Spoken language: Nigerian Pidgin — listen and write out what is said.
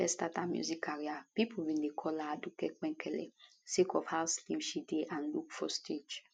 wen she first start her music career pipo bin dey call her aduke penkele sake of how slim she dey and look for stage